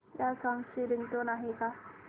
या सॉन्ग ची रिंगटोन आहे का